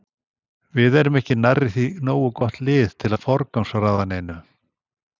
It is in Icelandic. Við erum ekki nærri því nógu gott lið til að forgangsraða neinu.